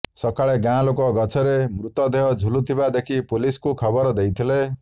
ସକାଳେ ଗାଁ ଲୋକେ ଗଛରେ ମୃତଦେହ ଝୁଲୁଥିବା ଦେଖି ପୁଲିସ୍କୁ ଖବର ଦେଇଥିଲେ